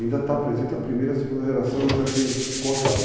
Ainda está presente a primeira e a segunda geração e ainda tem contatos.